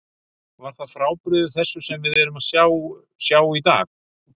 Var það frábrugðið þessu sem við erum að sjá, sjá í dag?